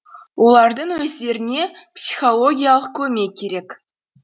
олардың өздеріне психологиялық көмек керек